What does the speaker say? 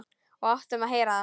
Og áttum að heyra það.